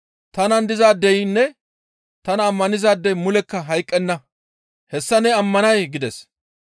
Tanan dizaadeynne tana ammanizaadey mulekka hayqqenna; hessa ne ammanay?» gides.